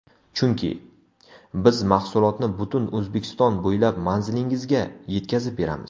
Chunki: Biz mahsulotni butun O‘zbekiston bo‘ylab manzilingizga yetkazib beramiz!